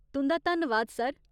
तुं'दा धन्नवाद, सर।